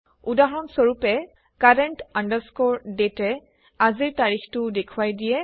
উদাহৰণ স্বৰূপে CURRENT DATE এ আজিৰ তাৰিখটো দেখুৱাই দিয়ে